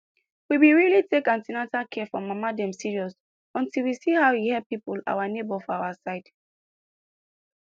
we been really take an ten atal care for mama dem serious until we see how e help people our neighbors for our side